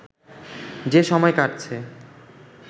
যে সময় কাটছে